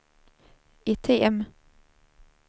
item